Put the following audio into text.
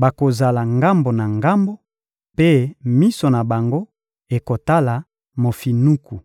bakozala ngambo na ngambo, mpe miso na bango ekotala mofinuku.